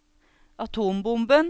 atombomben